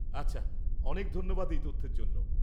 আচ্ছা, অনেক ধন্যবাদ এই তথ্যের জন্য।